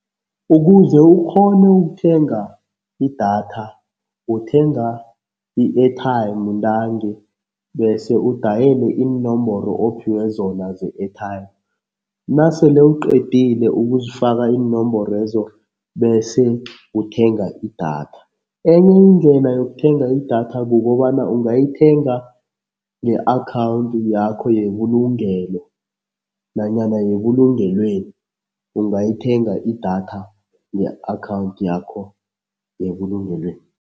Ukuze ukghone ukuthenga idatha, uthenga i-airtime ntangi bese udayele iinomboro ophiwe zona ze-airtime. Nasele uqedile ukuzifaka iinomborwezo bese uthenga idatha. Enye indlela yokuthenga idatha kukobana ungayithenga nge-akhawundi yakho yebulugelo nanyana yebulungelweni, ungayithenga idatha nge-akhawundi yakho yebulungelweni.